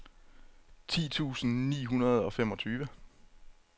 ti tusind ni hundrede og femogtyve